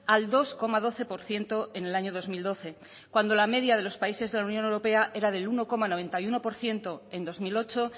al dos coma doce por ciento en el año dos mil doce cuando la media de los países de la unión europea era del uno coma noventa y uno por ciento en dos mil ocho